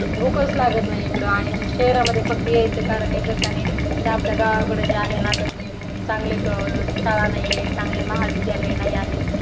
भूकच लागत नाही. इकडं आणि शहरांमध्ये फक्त यायचं कारण एकच आहे. जे आपलं गावाकड आहे ना चांगले शाळा नाही आहे. चांगले महाविद्यालय नाही आहे.